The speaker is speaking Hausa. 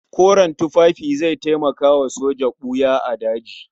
Koren tufafi zai taimaka wa soja ɓuya a daji.